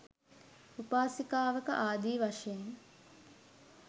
උපාසිකාවක ආදී වශයෙන්